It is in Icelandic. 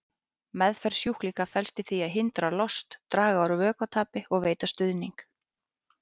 Meðferð sjúklinga felst í því að hindra lost, draga úr vökvatapi og veita stuðning.